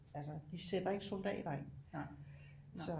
Altså de sætter ikke soldater ind så